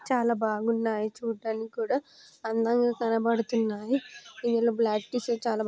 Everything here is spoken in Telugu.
చాలా బాగున్నాయి చూడటానికి కూడా. అందంగా కనబడుతున్నాయి. ఇవన్నీ బ్లాక్ డిజైన్స్ చాలా--